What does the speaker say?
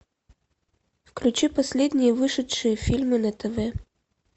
включи последние вышедшие фильмы на тв